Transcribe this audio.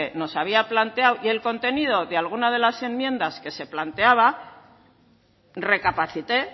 nos había planteado y el contenido de algunas de las enmiendas que se planteaba recapacité